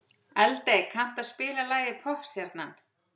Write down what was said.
Eldey, kanntu að spila lagið „Poppstjarnan“?